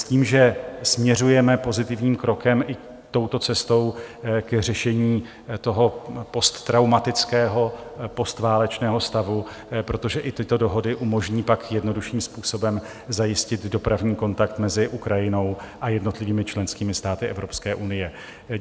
S tím, že směřujeme pozitivním krokem i touto cestou k řešení toho posttraumatického postválečného stavu, protože i tyto dohody umožní pak jednodušším způsobem zajistit dopravní kontakt mezi Ukrajinou a jednotlivými členskými státy Evropské unie.